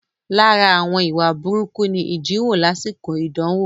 Lára àwọn ìwà burúkú ni ìjíniwò lásìkò idanwo